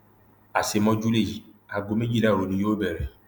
àṣemọjú lèyí aago méjìlá òru ni yóò bẹrẹ